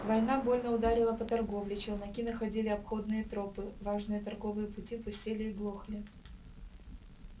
война больно ударила по торговле челноки находили обходные тропы важные торговые пути пустели и глохли